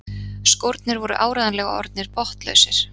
Skórnir voru áreiðanlega orðnir botnlausir.